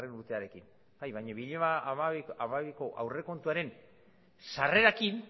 urtearekin bai baina bi mila hamabiko aurrekontuaren sarrerarekin